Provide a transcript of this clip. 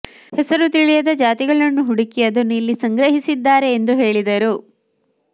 ಹೆಸರು ತಿಳಿಯದ ಜಾತಿಗಳನ್ನು ಹುಡುಕಿ ಅದನ್ನು ಇಲ್ಲಿ ಸಂಗ್ರಹಿಸಿದ್ದಾರೆ ಎಂದು ಹೇಳಿದರು